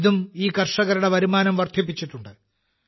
ഇതും ഈ കർഷകരുടെ വരുമാനം വർധിപ്പിച്ചിട്ടുണ്ട്